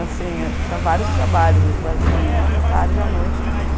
Assim, eu tinha vários trabalhos, às vezes estudava de manhã, de tarde e à noite também.